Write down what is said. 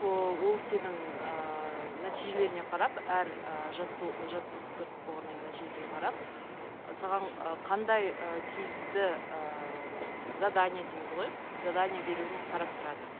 ыыы ол сенің ыыы нәтижелеріңе қарап әр ы жаттықтырып болғаннан кейін нәтижеге қарап саған ы қандай ы тиісті ыыы задание дейміз ғой задание беруін қарап тұрады